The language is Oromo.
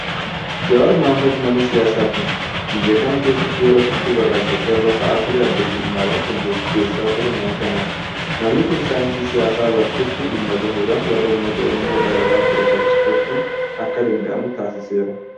Jowaar Mohaammad nama siyaasaati. Biyya kana keessatti yeroo sochiin warraaksa qeerroo ka'ee ture adda durummaadhaan kan gaggeessaa ture nama kanadha. Namni kun saayinsii siyaasaa baratetti dhimma bahuudhaan warra uummata Oromoo dararaa ture faccifachuun akka danda'amu taasiseera.